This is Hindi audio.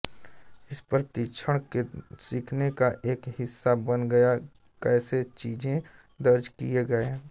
इस प्रशिक्षण के सीखने का एक हिस्सा बन गया कैसे चीजें दर्ज किए गए